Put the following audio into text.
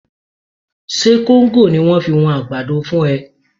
Ṣe kóńgò ni wọ́n fi wọn àgbàdo fún ẹ?